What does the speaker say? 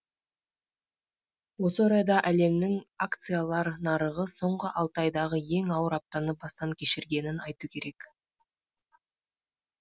осы орайда әлемнің акциялар нарығы соңғы алты айдағы ең ауыр аптаны бастан кешіргенін айту керек